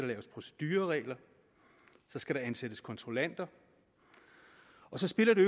laves procedureregler så skal der ansættes kontrollanter og så spiller det